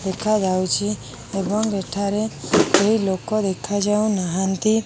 ଦେଖାଯାଉଚି ଏବଂ ଏଠାରେ କେହି ଲୋକ ଦେଖାଯାଉ ନାହାଁନ୍ତି